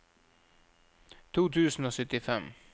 to tusen og syttifem